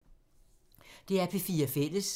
DR P4 Fælles